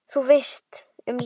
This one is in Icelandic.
Þú veist, um lífið?